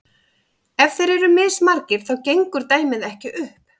ef þeir eru mismargir þá gengur dæmið ekki upp